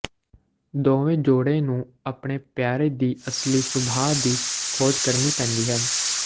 ਦੋਵੇਂ ਜੋੜੇ ਨੂੰ ਆਪਣੇ ਪਿਆਰੇ ਦੀ ਅਸਲੀ ਸੁਭਾਅ ਦੀ ਖੋਜ ਕਰਨੀ ਪੈਂਦੀ ਹੈ